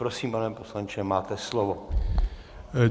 Prosím, pane poslanče, máte slovo.